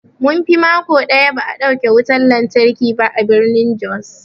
Munfi mako ɗaya ba'a dauke wutan lantarki ba a birnin jos.